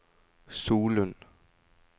Solund